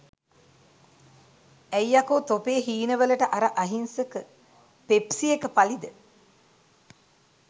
ඇයි යකෝ තොපේ හීන වලට අර අහිංසක පෙප්සි එක පලිද?